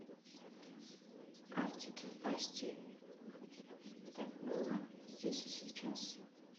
артик и асти так было здесь и сейчас